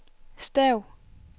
stav